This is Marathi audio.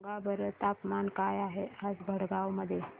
सांगा बरं तापमान काय आहे आज भडगांव मध्ये